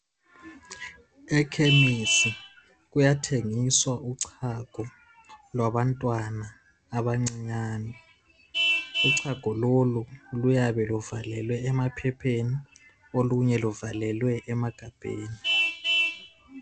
Ekhemisi kuyathengiswa uchago lwabantwana abancinyane ..Uchago lolu luyabe luvalelwe emaphepheni olunye luvalelwe emagabheni .